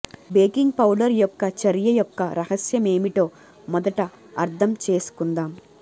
baking powder యొక్క చర్య యొక్క రహస్యం ఏమిటో మొదట అర్థం చేసుకుందాం